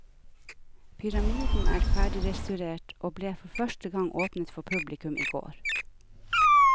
Pyramiden er ferdigrestaurert, og ble for første gang åpnet for publikum i går.